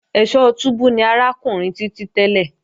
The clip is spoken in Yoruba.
Ẹ̀sọ́ túbú ni arákùnrin Títí tẹ́lẹ̀